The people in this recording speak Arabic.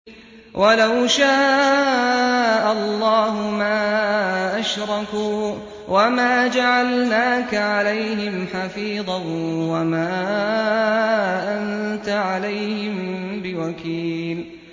وَلَوْ شَاءَ اللَّهُ مَا أَشْرَكُوا ۗ وَمَا جَعَلْنَاكَ عَلَيْهِمْ حَفِيظًا ۖ وَمَا أَنتَ عَلَيْهِم بِوَكِيلٍ